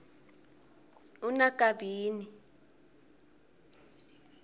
unakabini